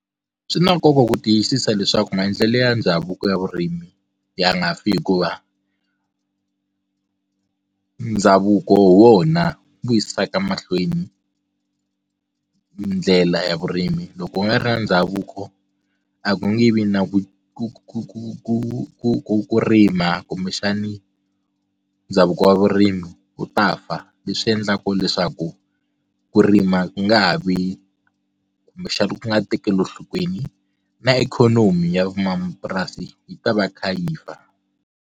Swi na nkoka ku tiyisisa leswaku maendlelo ya ndhavuko ya vurimi ya nga fi hikuva ndhavuko wona vuyisaka mahlweni ndlela ya vurimi loko u nga ri na ndhavuko a ku nge vi na ku ku ku ku ku ku ku ku rima kumbexani ndhavuko wa vurimi wu ta fa leswi endlaka leswaku ku rima ku nga ha vi kumbexani ku nga tekeli enhlokweni na ikhonomi ya van'wamapurasi yi ta va yi kha yi fa.